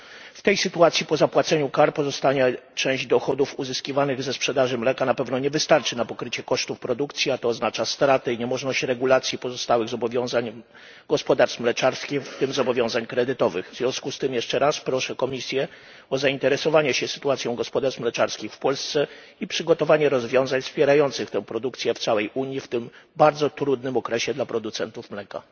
W tej sytuacji, po zapłaceniu kar, pozostająca część dochodów uzyskiwanych ze sprzedaży mleka na pewno nie wystarczy na pokrycie kosztów produkcji, a to oznacza straty i niemożność regulacji pozostałych zobowiązań gospodarstw mleczarskich, w tym zobowiązań kredytowych. W związku z tym jeszcze raz proszę Komisję o zainteresowanie się sytuacją gospodarstw mleczarskich w Polsce i przygotowanie rozwiązań wspierających tę produkcję w całej Unii w tym bardzo trudnym okresie dla producentów mleka.